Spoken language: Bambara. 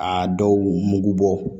A dɔw mugu bɔ